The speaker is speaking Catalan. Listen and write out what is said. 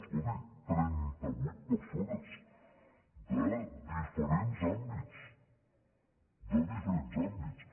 escolti trenta·vuit persones de diferents àmbits de diferents àmbits